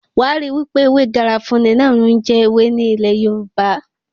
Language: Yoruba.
Wàá ríi wípé ewé garafuni náà ní ń jẹ́ ewé ní ilẹ̀ Yorùbá.